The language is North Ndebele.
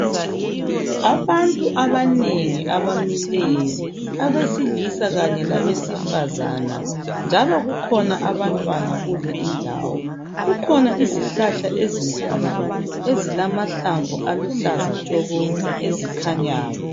Abantu abanengi abamileyo abesilisa kanye labesifazana njalo kukhona abantwana kule indawo kukhona izihlahla ezinkulu ezilamahlamvu aluhlaza tshoko ezikhanyayo.